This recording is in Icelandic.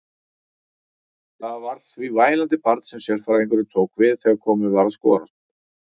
Það var því vælandi barn sem sérfræðingurinn tók við þegar komið var að skoðunarstofunni.